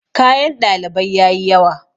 kayan ɗalibai ya yi yawa